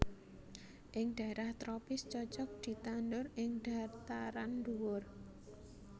Ing daerah tropis cocok ditanhur ing dhataran dhuwur